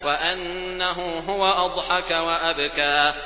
وَأَنَّهُ هُوَ أَضْحَكَ وَأَبْكَىٰ